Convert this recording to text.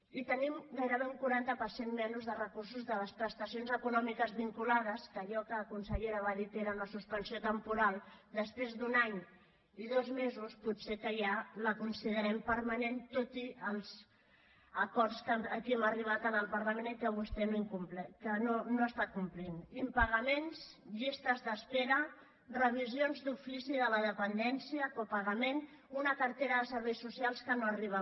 i tenim gairebé un quaranta per cent menys de recursos de les prestacions econòmiques vinculades que allò que la consellera va dir que era una suspensió temporal després d’un any i dos mesos potser que ja la considerem permanent tot i els acords a què aquí hem arribat al parlament i que vostè no està complint impagaments llistes d’espera revisions d’ofici de la dependència copagament una cartera de serveis socials que no arriba